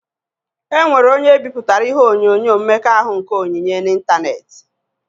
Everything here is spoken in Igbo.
E nwere onye biputere ihe onyonyo mmekọahụ nke Onyinye n'ịntanetị.